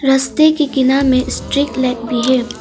रस्ते के किना में स्ट्रीट लाइट भी है।